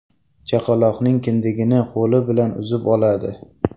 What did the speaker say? Chaqaloqning kindigini qo‘li bilan uzib oladi.